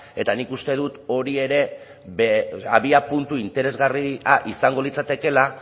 eta nik uste dut hori ere abiapuntu interesgarria izango litzatekela